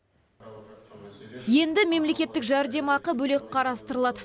енді мемлекеттік жәрдемақы бөлек қарастырылады